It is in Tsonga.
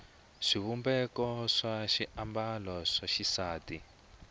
xivumbeko xa swiambalo swa xisati